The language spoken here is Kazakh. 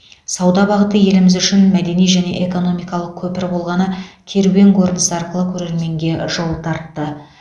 сауда бағыты еліміз үшін мәдени және экономикалық көпір болғаны керуен көрінісі арқылы көрерменге жол тартты